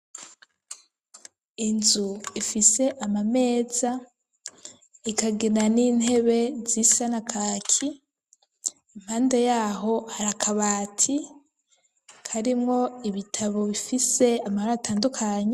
Inzu ifise amameza ikagena n'intebe z'isana kaki impande yaho arakabati karimwo ibitabo bifise amabra atandukanyu.